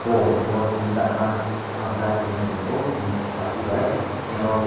polpho o tini charma borang chai tongmo chung nukgo bati bai tini oro.